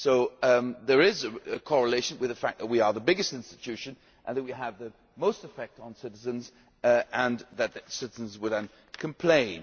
So there is a correlation with the fact that we are the biggest institution and that we have the most effect on citizens citizens will then complain.